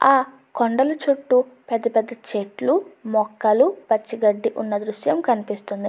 ఆ కొండలు చుట్టూ పెద్ద పెద్ద చెట్లు మొక్కలు పచ్చిగడ్డి ఉన్న దృశ్యం కనిపిస్తున్నది.